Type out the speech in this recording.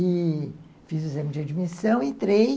E fiz o exame de admissão, entrei.